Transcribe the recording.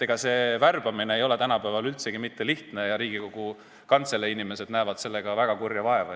Ega see värbamine ei ole tänapäeval üldsegi lihtne ja Riigikogu Kantselei inimesed näevad sellega väga kurja vaeva.